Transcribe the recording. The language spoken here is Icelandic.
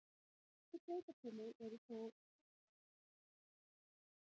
Nokkur sveitarfélög eru þó enn háð yfirborðsvatni.